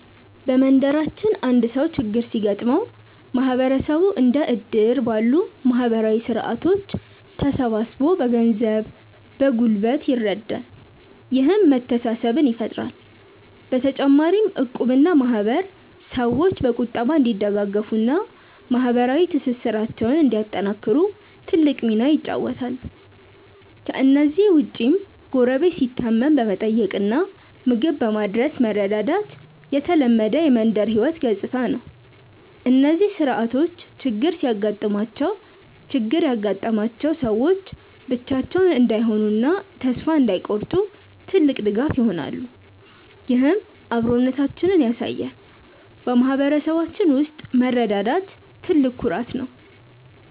በመንደራችን አንድ ሰው ችግር ሲገጥመው ማህበረሰቡ እንደ እድር ባሉ ማህበራዊ ስርዓቶች ተሰባስቦ በገንዘብና በጉልበት ይረዳል፤ ይህም መተሳሰብን ይፈጥራል። በተጨማሪም እቁብና ማህበር ሰዎች በቁጠባ እንዲደጋገፉና ማህበራዊ ትስስራቸውን እንዲያጠናክሩ ትልቅ ሚና ይጫወታሉ። ከእነዚህ ውጭም ጎረቤት ሲታመም በመጠየቅና ምግብ በማድረስ መረዳዳት የተለመደ የመንደር ህይወት ገጽታ ነው። እነዚህ ስርዓቶች ችግር ያጋጠማቸው ሰዎች ብቻቸውን እንዳይሆኑና ተስፋ እንዳይቆርጡ ትልቅ ድጋፍ ይሆናሉ፤ ይህም አብሮነታችንን ያሳያል። በማህበረሰባችን ውስጥ መረዳዳት ትልቅ ኩራት ነው።